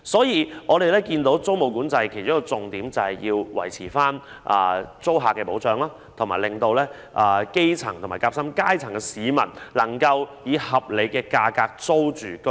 因此，我們留意到租務管制的其中一個重點是維護對租客的保障，以及讓基層和夾心階層市民能以合理價格租住居所。